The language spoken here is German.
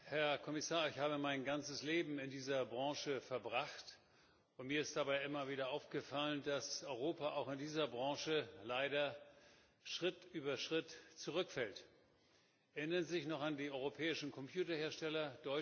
Herr Präsident! Herr Kommissar! Ich habe mein ganzes Leben in dieser Branche verbracht, und mir ist dabei immer wieder aufgefallen, dass Europa auch in dieser Branche leider Schritt über Schritt zurückfällt. Erinnern Sie sich noch an den europäischen Computerhersteller?